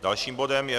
Dalším bodem je